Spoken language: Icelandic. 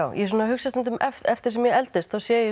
ég svona hugsa stundum eftir því sem ég eldist þá sé ég